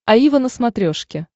аива на смотрешке